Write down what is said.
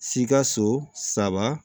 Sikaso saba